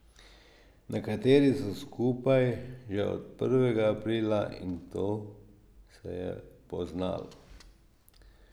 Nekateri so skupaj že od prvega aprila in to se je poznalo.